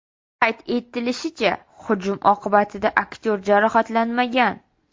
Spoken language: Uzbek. Qayd etilishicha, hujum oqibatida aktyor jarohatlanmagan.